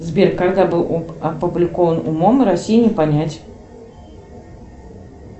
сбер когда был опубликован умом россию не понять